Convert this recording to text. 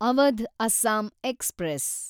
Awadh Assam express